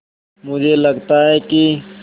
मुझे लगता है कि